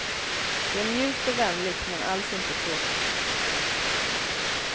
Det är mjukt och vänligt, men alls inte tråkigt.